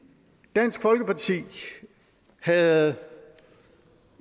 dansk folkeparti havde